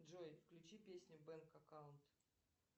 джой включи песню бэнк аккаунт